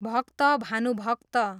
भक्त भानुभक्त